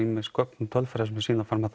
gögn og tölfræði sem sýna